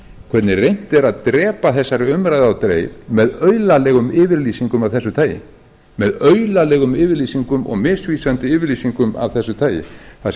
hvernig reynt er að drepa þessari umræðu á dreif með aulalegum yfirlýsingum af þessu tagi með aulalegum yfirlýsingum og misvísandi yfirlýsingum af þessu tagi það sem